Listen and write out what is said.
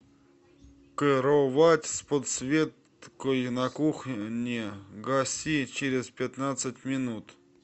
кровать с подсветкой на кухне гаси через пятнадцать минут